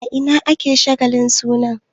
A ina ne ake shagalin sunan?